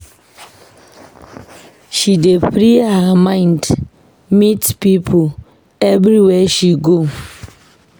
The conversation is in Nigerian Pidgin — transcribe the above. She dey free her mind meet pipo everywhere she go.